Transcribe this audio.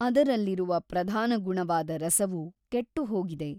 ಅದರಲ್ಲಿರುವ ಪ್ರಧಾನ ಗುಣವಾದ ರಸವು ಕೆಟ್ಟುಹೋಗಿದೆ.